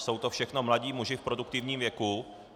Jsou to všechno mladí muži v produktivním věku.